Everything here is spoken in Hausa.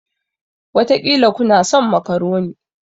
Wataƙila kuna son makaroni.